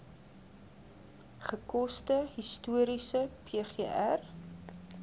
gekose historiese pgr